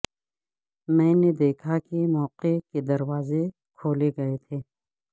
میں نے دیکھا کہ موقع کے دروازے کھولے گئے تھے